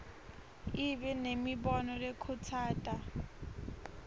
ibe nemibono lekhutsata